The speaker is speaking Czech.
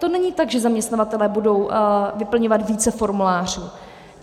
To není tak, že zaměstnavatelé budou vyplňovat více formulářů.